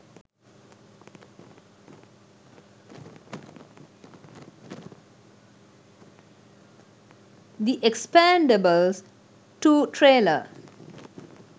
the expendables 2 trailer